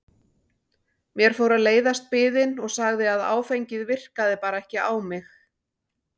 Mér fór að leiðast biðin og sagði að áfengið virkaði bara ekki á mig.